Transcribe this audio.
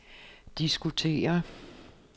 diskutere